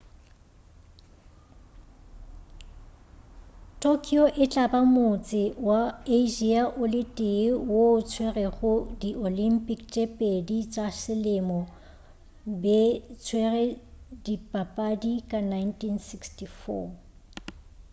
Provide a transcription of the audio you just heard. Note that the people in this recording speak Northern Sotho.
tokyo e tla ba motse wa asia o le tee wo o tswerego di olympic tše pedi tša selemo be tswere dipapadi ka 1964